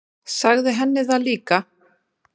Sagði henni það líka.